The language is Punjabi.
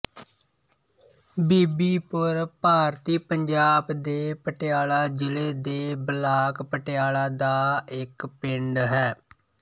ਬੀਬੀਪੁਰ ਭਾਰਤੀ ਪੰਜਾਬ ਦੇ ਪਟਿਆਲਾ ਜ਼ਿਲ੍ਹੇ ਦੇ ਬਲਾਕ ਪਟਿਆਲਾ ਦਾ ਇੱਕ ਪਿੰਡ ਹੈ